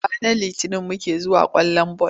Ranar Litinin muke zuwa kallon ball.